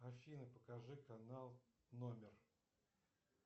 афина покажи канал номер